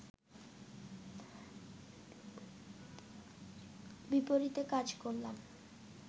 বিপরীতে কাজ করলাম